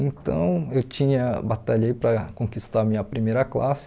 Então, eu tinha batalhei para conquistar a minha primeira classe.